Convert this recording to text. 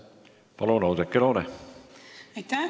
Palun, Oudekki Loone!